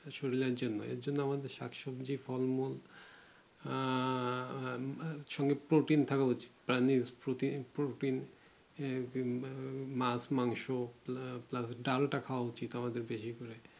শরীরে জন্য এইজন্য আমাদের শাক সবজি ফল মল আহ ছোট Protein খাওয়া উচিত Protein Protein মাছ মাংস আহ Plus ডালটা খোয়া উচিত আমাদের বেশি করে